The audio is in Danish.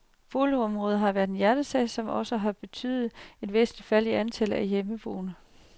Boligområdet har været en hjertesag, som også har betydet et væsentligt fald i antallet af hjemmeboende.